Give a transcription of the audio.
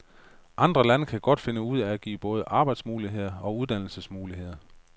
Andre lande kan godt finde ud af at give både arbejdsmuligheder og uddannelsesmuligheder.